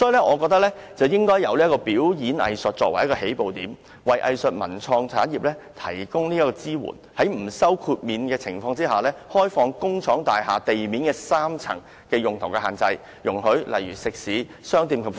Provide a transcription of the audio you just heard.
我認為政府應以表演藝術作為起步點，為藝術文創產業提供支援，在不收豁免費的情況下，放寬工廠大廈地面3層的用途限制，容許例如食肆、商店及服務業......